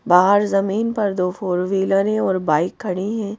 बाहर जमीन पर दो फोर व्हीलर हैं और बाइक खड़ी हैं।